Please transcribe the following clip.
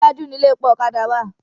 Iwájú ni ilé epo ọ̀kadà wà.